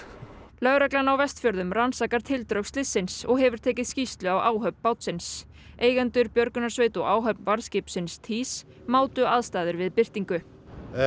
lögreglan á Vestfjörðum rannsakar tildrög slyssins og hefur tekið skýrslu af áhöfn bátsins eigendur björgunarsveit og áhöfn varðskipsins týs mátu aðstæður við birtingu